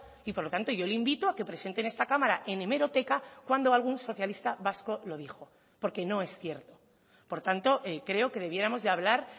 y por lo tanto yo le invito a que presente en esta cámara en hemeroteca cuándo algún socialista vasco lo dijo porque no es cierto por tanto creo que debiéramos de hablar